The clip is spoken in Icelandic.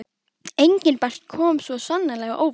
Engilbert kom svo sannarlega á óvart.